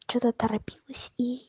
что-то торопилась и